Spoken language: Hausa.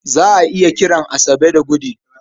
Za a iya kiran Asabe da Gude.